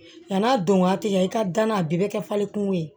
Yan'a don waati i ka danna a bɛɛ bɛ kɛ falen kungo ye